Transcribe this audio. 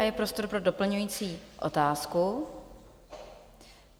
A je prostor pro doplňující otázku.